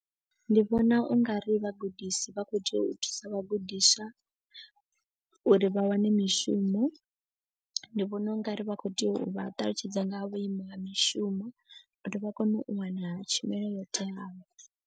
Ndi vhona u nga ri vhagudisi vha kho tea u thusa vhagudiswa. Uri vha wane mishumo ndi vhona u nga ri vha khou tea u vha ṱalutshedza nga ha vhuimo ha mishumo. Uri vha kone u wana tshumelo yo teaho.